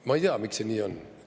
Ma ei tea, miks see nii on.